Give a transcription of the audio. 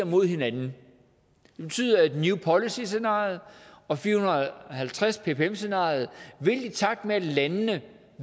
mod hinanden det betyder at new policies scenariet og fire hundrede og halvtreds ppm scenariet i takt med at landene